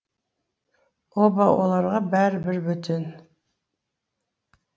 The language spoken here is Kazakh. оба оларға бәрі бір бөтен